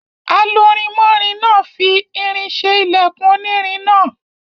Alurinmọ́rin náà fi irin ṣe ilẹkùn onírin náà.